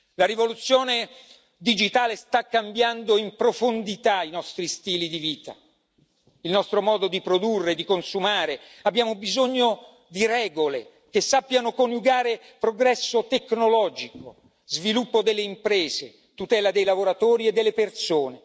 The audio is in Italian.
La rivoluzione digitale sta cambiando in profondità i nostri stili di vita, il nostro modo di produrre e di consumare abbiamo bisogno di regole che sappiano coniugare progresso tecnologico, sviluppo delle imprese, tutela dei lavoratori e delle persone.